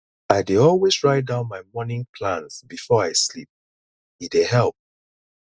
i dey always write down my morning plans before i sleep e dey help